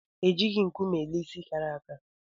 E jighi nkume ele ịsị kàrà àkà